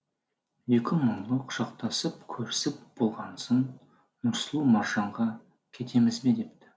екі мұңлы құшақтасып көрісіп болғансын нұрсұлу маржанға кетеміз бе депті